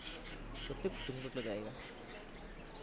সত্যি খুব সুন্দর জায়গা।